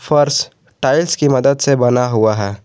फर्श टाइल्स की मदद से बना हुआ है।